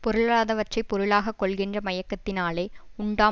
பொருளாதவற்றைப் பொருளாக கொள்கின்ற மயக்கத்தினாலே உண்டாம்